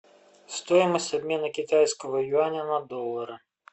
стоимость обмена китайского юаня на доллары